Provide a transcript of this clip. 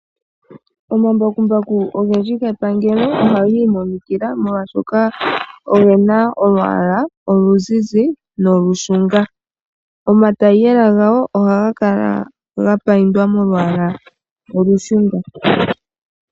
Omambakumbaku ogendji gepangelo ohaga imonikila, molwashoka oge na olwaala oluzizi nolushunga. Omatayiyela gago ohaga kala ga payindwa molwaala olushunga.